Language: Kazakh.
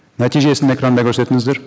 нәтижесін экранда көрсетіңіздер